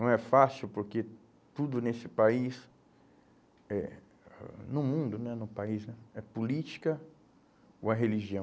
Não é fácil porque tudo nesse país, eh no mundo né, no país né, é política ou é religião.